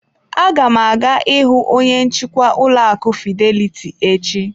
Aga m aga ịhụ onye nchịkwa ụlọ akụ fidelity echi.